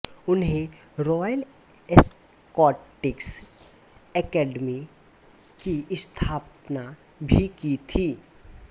उन्हें Royal Scottish Academy की स्थापना भी की थी